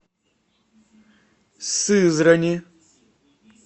сызрани